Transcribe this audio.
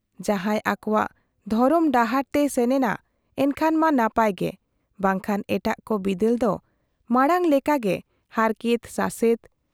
ᱡᱟᱦᱟᱸᱭ ᱟᱠᱚᱣᱟᱜ ᱫᱷᱚᱨᱚᱢ ᱰᱟᱦᱟᱨ ᱛᱮᱭ ᱥᱮᱱᱮᱱᱟ , ᱮᱱᱠᱷᱟᱱ ᱢᱟ ᱱᱟᱯᱟᱭ ᱜᱮ , ᱵᱟᱝᱠᱷᱟᱱ ᱮᱴᱟᱜ ᱠᱚ ᱵᱤᱫᱟᱹᱞ ᱫᱚ ᱢᱟᱬᱟᱝ ᱞᱮᱠᱟᱜᱮ ᱦᱟᱨᱠᱮᱛ ᱥᱟᱥᱮᱛ ᱾